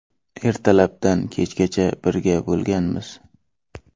Ertalabdan kechgacha birga bo‘lganmiz.